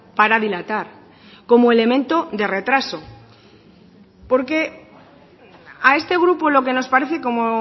para dilatar como elemento de retraso porque a este grupo lo que nos parece como